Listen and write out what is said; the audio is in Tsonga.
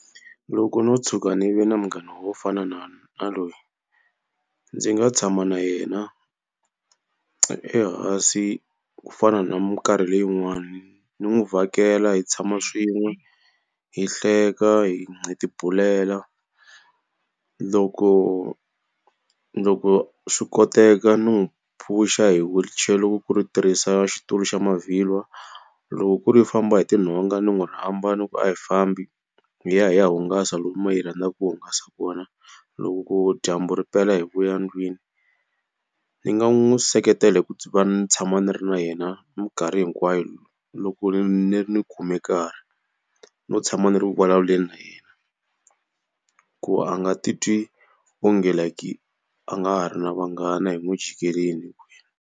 Loko ndzo tshuka ndzi ve na munghana wo fana na na loyi ndzi nga tshama na yena ehansi ku fana na minkarhi leyi yin'wani. Ndzi n'wi vhakela hi tshama swin'we, hi hleka, hi ti bulela. loko loko swi koteka n'wi phush-a hi wheelchair ku ri tirhisa xitulu xa mavhilwa. Loko ku ri u famba hi tinhonga ndzi n'wi ri rhamba ndzi ku a hi fambi hi ya hi ya hungasa lomu ma hi rhandzaka hungasa kona, loko ku dyambu ri pela hi vuya ndlwini. Ndzi nga n'wi seketela hi ku va ndzi tshama ndzi ri na yena minkarhi hinkwayo loko ndzi ri ni khume karhi no tshama ndzi ri vulavuleni na yena ku a nga titwi onge like a nga ha ri na vanghana hi n'wi jikerile.